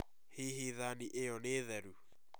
Hihi thani iyo nĩ therũ